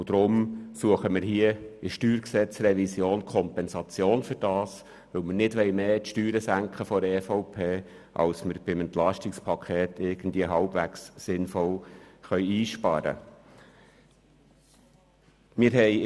Dafür suchen wir hier in der StG-Revision Kompensation, weil wir seitens der EVP die Steuern nicht mehr senken wollen, als wir dies beim EP halbwegs sinnvoll einsparen können.